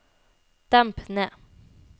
demp ned